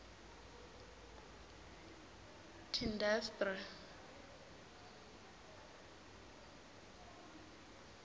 tiindastri